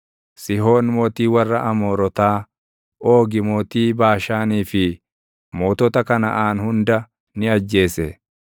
Sihoon mootii warra Amoorotaa, Oogi mootii Baashaanii fi mootota Kanaʼaan hunda ni ajjeese;